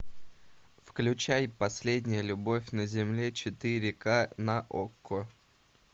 включай последняя любовь на земле четыре ка на окко